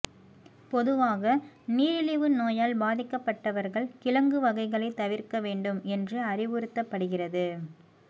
பொதுவாக நீரிழிவு நோயால் பாதிக்கப்பட்டவர்கள் கிழங்கு வகைகளை தவிர்க்க வேண்டும் என்று அறிவுறுத்தப்படுகிறது